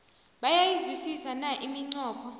bayayizwisisa na iminqopho